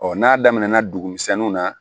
n'a daminɛna dugu misɛnninw na